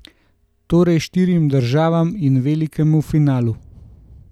Torej štirim državam in velikemu finalu.